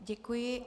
Děkuji.